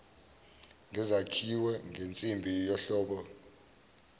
ngesakhiwe ngensimbi yohlobo